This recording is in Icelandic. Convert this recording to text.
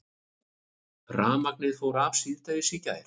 Rafmagnið fór af síðdegis í gær